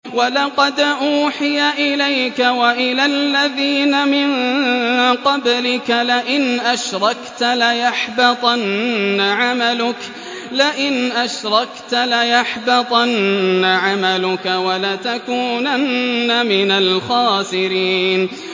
وَلَقَدْ أُوحِيَ إِلَيْكَ وَإِلَى الَّذِينَ مِن قَبْلِكَ لَئِنْ أَشْرَكْتَ لَيَحْبَطَنَّ عَمَلُكَ وَلَتَكُونَنَّ مِنَ الْخَاسِرِينَ